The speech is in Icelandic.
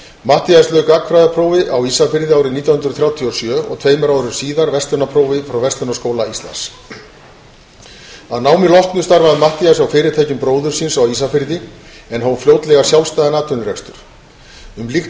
matthías lauk gagnfræðaprófi á ísafirði árið nítján hundruð þrjátíu og sjö og tveimur árum síðar verslunarprófi frá verzlunarskóla íslands að námi loknu starfaði matthías hjá fyrirtækjum bróður síns á ísafirði en hóf fljótlega sjálfstæðan atvinnurekstur um líkt